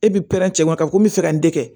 E bi cɛ ɲuman ka ko mi fɛ ka nin kɛ